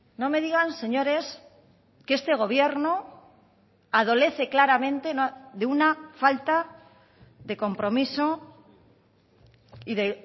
no me digan señores que este gobierno adolece claramente de una falta de compromiso y de